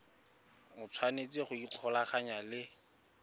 o tshwanetse go ikgolaganya le